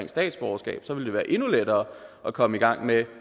statsborgerskab ville det være endnu lettere at komme i gang med